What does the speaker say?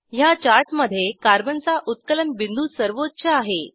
ह्या चार्टमधे कार्बन चा उत्कलन बिंदू सर्वोच्च आहे